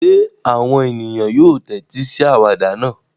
Ṣé àwọn ènìyàn yóò tẹ́tí sí àwàdà náà?